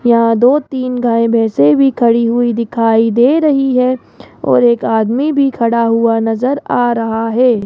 यहां दो तीन गाय भैंसे भी खड़ी हुई दिखाई दे रही है और एक आदमी भी खड़ा हुआ नजर आ रहा है।